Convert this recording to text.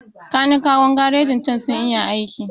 Kanikawan garrjin cen sun iya aiki